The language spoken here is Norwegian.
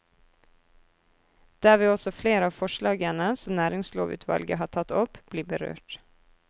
Der vil også flere av forslagene som næringslovutvalget har tatt opp, bli berørt.